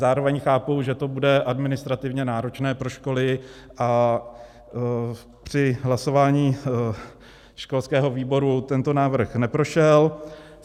Zároveň chápu, že to bude administrativně náročné pro školy, a při hlasování školského výboru tento návrh neprošel.